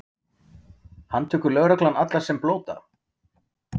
Handtekur lögreglan alla sem blóta?